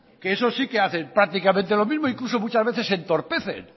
que esos sí que hacen prácticamente lo mismo e incluso muchas veces se entorpecen